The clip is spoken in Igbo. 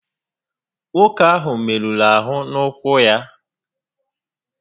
Nwoke áhụ́ merụrụ ahụ n'ụ́kwụ́ ya